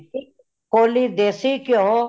ਇਕ ਕੋਲੀ ਦੇਸੀ ਕਯੋ